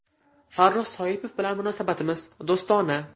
Farruh Soipov bilan munosabatimiz do‘stona.